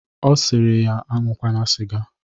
Ọ sịrị ya aṅụkwana sịga